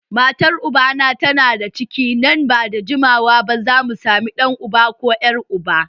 Matar ubana tana da ciki nan ba da jimawa ba za mu sami ɗan uba ko ƴar uba